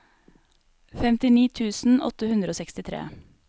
femtini tusen åtte hundre og sekstitre